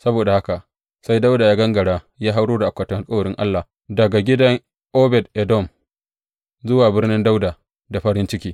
Saboda haka sai Dawuda ya gangara ya hauro da akwatin alkawarin Allah daga gidan Obed Edom zuwa Birnin Dawuda da farin ciki.